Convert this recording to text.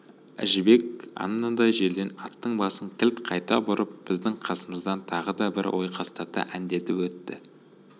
әжібек анадай жерден аттың басын кілт қайта бұрып біздің қасымыздан тағы да бір ойқастата әндетіп өтті